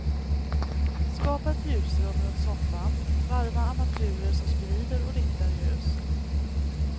Skapa ett ljusrum runt soffan, varva armaturer som sprider och riktar ljus.